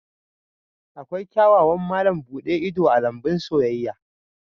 Akwai kyawawan malam buɗe ido a lambun soyayya